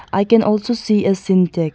i can also see a sintake.